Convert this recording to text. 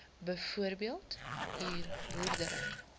byvoorbeeld huur boerdery